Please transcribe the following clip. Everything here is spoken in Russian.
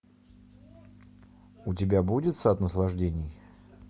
у тебя будет сад наслаждений